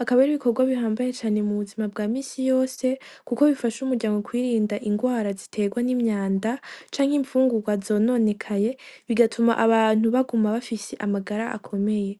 akaba ar'ibikogwa bihambaye cane mu buzima bwa misi yose kuko bifasha umuryango kwirinda ingwara zitegwa n'imyanda canke imfungugwa zononekaye bigatuma abantu baguma bafise amagara akomeye.